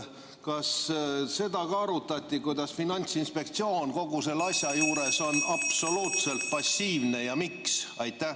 Kas seda arutati, et Finantsinspektsioon on kogu selle asja juures absoluutselt passiivne ja miks?